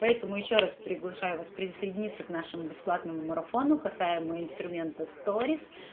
поэтому ещё раз приглашаю вас присоединиться к нашему бесплатному марафону касаемо инструмента сторис